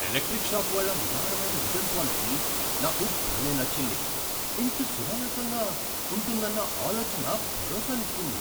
Electric shop వాళ్ళ ఉదారమైన return policy నాకు భలేగా నచ్చింది, ఇంత సునాయాసంగా ఉంతుందన్న ఆలోచన భరోసానిస్తుంది.